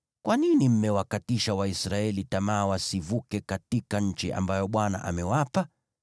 Kwa nini mmewakatisha Waisraeli tamaa wasivuke katika nchi ambayo Bwana amewapa?